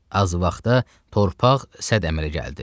Az vaxtda torpaq sədd əmələ gəldi.